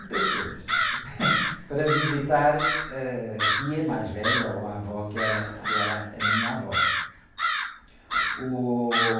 Cem pessoas, para visitar a tia mais velha, ou a avó, que era, que era a minha avó. Uh...